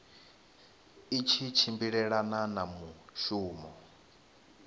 i tshi tshimbilelana na mushumo